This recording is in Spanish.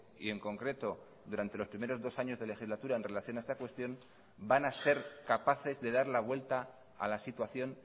y en concreto durante los primeros dos años de legislatura en relación a esta cuestión van a ser capaces de dar la vuelta a la situación